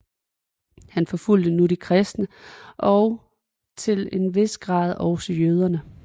Han forfulgte nu de kristne og til en vis grad også jøderne